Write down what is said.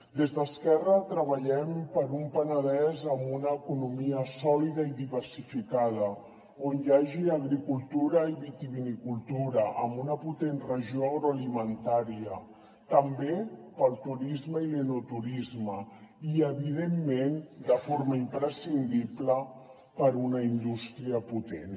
des d’esquerra treballem per un penedès amb una economia sòlida i diversificada on hi hagi agricultura i vitivinicultura amb una potent regió agroalimentària també pel turisme i l’enoturisme i evidentment de forma imprescindible per una indústria potent